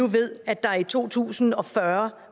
ved at der i to tusind og fyrre